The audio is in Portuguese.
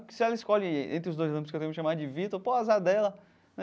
Que se ela escolhe entre os dois nomes que eu tenho me chamar de Vitor, pô, azar dela.